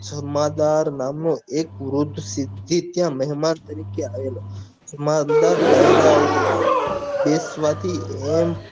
ધમાદાર નામ નો એક વૃદ્ધ સિદ્ધિ ત્ય મેહમાન તરીકે આવેલો સમાન દાર દાયરા ઓ ના બેસવા થી એમ